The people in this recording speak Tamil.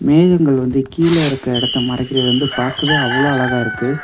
மேகங்கள் வந்து கீழ இருக்கற இடத்தை மறைக்குறது வந்து பாக்கவே அவ்வளோ அழகாக இருக்கு.